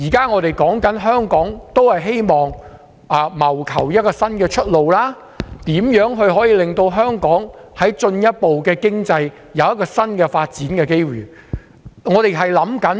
我們現時希望為香港謀求一條新出路，如何可以進一步令香港的經濟有新的發展機遇？